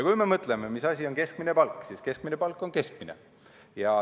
Kui me mõtleme, mis asi on keskmine palk, siis keskmine palk on keskmine.